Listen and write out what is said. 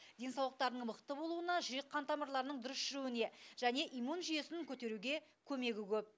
денсаулықтарының мықты болуына жүрек қан тамырларының дұрыс жүруіне және иммун жүйесін көтеруге көмегі көп